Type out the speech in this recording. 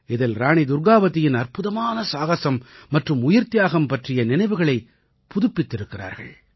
இதில் ராணி துர்க்காவதியின் அற்புதமான சாகஸம் மற்றும் உயிர்த்தியாகம் பற்றிய நினைவுகளை புதுப்பித்திருக்கிறார்கள்